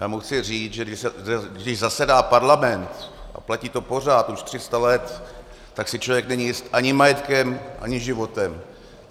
Já mu chci říct, že když zasedá parlament, a platí to pořád už 300 let, tak si člověk není jist ani majetkem, ani životem.